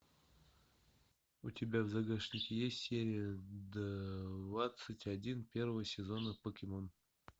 у тебя в загашнике есть серия двадцать один первого сезона покемон